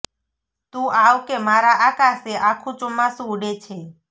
તું આવ કે મારા આકાશે આખું ચોમાસું ઉડે છે